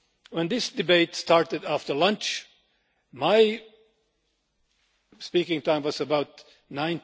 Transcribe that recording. When this debate started after lunch, my speaking time was at around